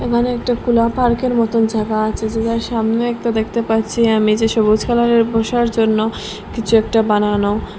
এখানে একটা খোলা পার্কের মতো জায়গা আছে যেটার সামনেই তো দেখতে পাচ্ছি আমি যে সবুজ কালারের বসার জন্য কিছু একটা বানানো।